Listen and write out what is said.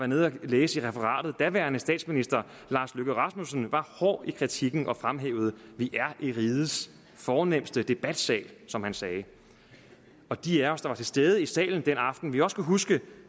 nede at læse i referatet daværende statsminister lars løkke rasmussen var hård i kritikken og fremhævede vi er i rigets fornemste debatsal som han sagde og de af os der var til stede i salen den aften vil også kunne huske